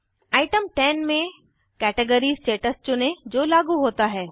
item 10 में category status चुनें जो लागू होता है